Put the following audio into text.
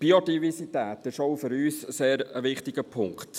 Biodiversität ist auch für uns ein sehr wichtiger Punkt.